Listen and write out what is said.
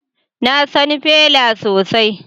Na san Fela sosai